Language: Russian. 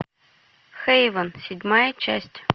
хейвен седьмая часть